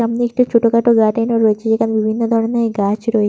সামনে একটি ছোট খাটো গার্ডেন ও রয়েছে। যেখানে বিভিন ধরনের গাছ রয়ে--